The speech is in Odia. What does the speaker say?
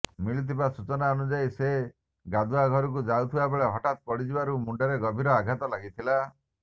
ମିଳିଥିବା ସୂଚନା ଅନୁଯାୟୀ ସେ ଗାଧୁଆ ଘରକୁ ଯାଉଥିବା ବେଳେ ହଠାତ ପଡିଯିବାରୁ ମୁଣ୍ଡରେ ଗଭୀର ଆଘାତ ଲାଗିଥିଲା